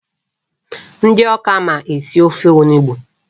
Ndị Awka ma esi ofe onugbu.